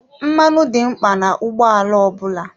Mmanụ dị mkpa na ụgbọ ala ọ bụla.